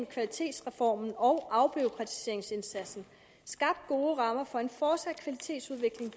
kvalitetsreformen og afbureaukratiseringsindsatsen skabt gode rammer for en fortsat kvalitetsudvikling